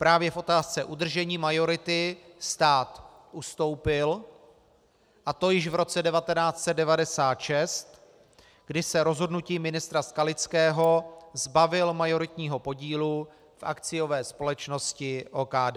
Právě v otázce udržení majority stát ustoupil, a to již v roce 1996, kdy se rozhodnutím ministra Skalického zbavil majoritního podílu v akciové společnosti OKD.